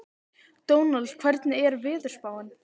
Dónald, hvernig er veðurspáin?